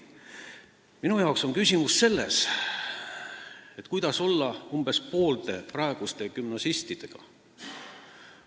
Minu arvates on küsimus selles, mida teha umbes poolte praeguste gümnasistidega.